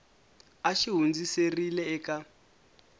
a xi hundziserile eka n